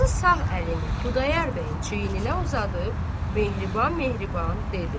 Qazı sağ əlini Xudayar bəyin çiyninə uzadıb, mehriban-mehriban dedi.